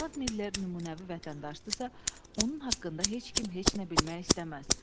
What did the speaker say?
Cənab Miller nümunəvi vətəndaşdırsa, onun haqqında heç kim heç nə bilmək istəməz.